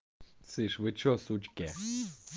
слышишь вы что сучки